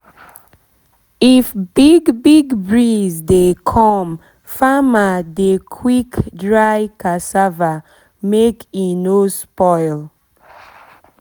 if big big breeze dey come farmer dey quick dry cassava make e no spoil